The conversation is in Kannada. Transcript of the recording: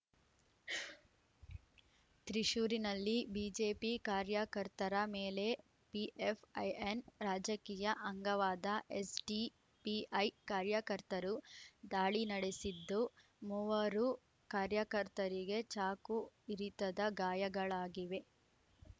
ತ್ರಿಶ್ಶೂರಿನಲ್ಲಿ ಬಿಜೆಪಿ ಕಾರ್ಯಕರ್ತರ ಮೇಲೆ ಪಿಎಫ್‌ಐಎನ್ ರಾಜಕೀಯ ಅಂಗವಾದ ಎಸ್‌ಡಿಪಿಐ ಕಾರ್ಯಕರ್ತರು ದಾಳಿ ನಡೆಸಿದ್ದು ಮೂವರು ಕಾರ್ಯಕರ್ತರಿಗೆ ಚಾಕು ಇರಿತದ ಗಾಯಗಳಾಗಿವೆ